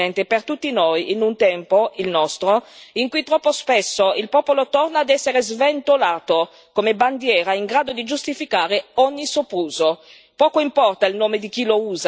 Dalla storia un monito, signor Presidente, per tutti noi, in un tempo, il nostro, in cui troppo spesso il popolo torna ad essere sventolato come bandiera in grado di giustificare ogni sopruso.